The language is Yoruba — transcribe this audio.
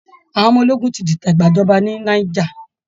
Àwọn ọmọ ológun ti dìtẹ̀ gbàjọba ní Niger